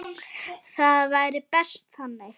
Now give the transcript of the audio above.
Það væri best þannig.